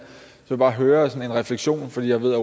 så bare høre refleksionen for jeg ved at